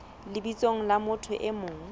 lebitsong la motho e mong